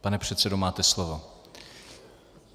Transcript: Pane předsedo, máte slovo.